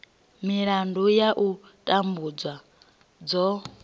milandu ya u tambudzwa dzo